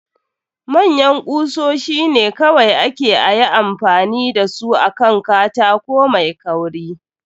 Manyan kusoshi ne kawai ake ayi amfani da su akan katako mai kauri.